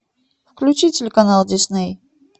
включи телеканал дисней